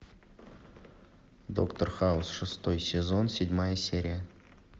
доктор хаус шестой сезон седьмая серия